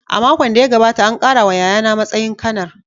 A makon da ya gabata, an ƙara wa yayana matsayin Kanar.